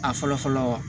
A fɔlɔ fɔlɔ